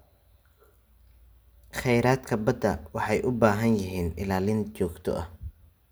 Khayraadka badda waxay u baahan yihiin ilaalin joogto ah.